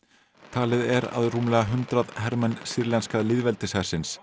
talið er að rúmlega hundrað hermenn sýrlenska